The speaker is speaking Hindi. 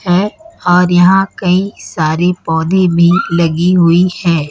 है और यहां कई सारी पौधे भी लगी हुई है।